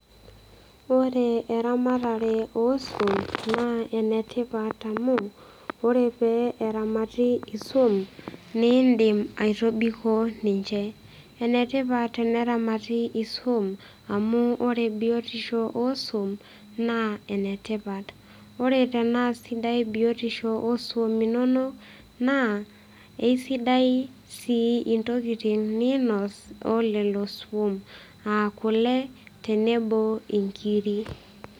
Ore eramatare oswam naa enetipat amu ore peramati iswam niindim aitobiko ninche . Enetipat eneramati iswam amu ore biotisho oswam naa enetipat , ore tenaa sidai biotisho oswam inonok naa isidai sii intokitin ninos olelo swom , aakule tenebo inkiri.